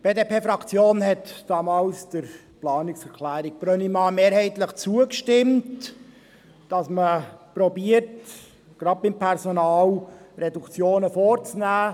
Die BDP-Fraktion hatte damals der Planungserklärung Brönnimann mehrheitlich zugestimmt, das heisst, dass man versucht, gerade beim Personal Reduktionen vorzunehmen.